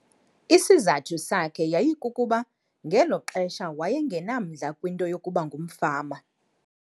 Isizathu sakhe yayikukuba ngelo xesha waye ngenamdla kwinto yokuba ngumfama.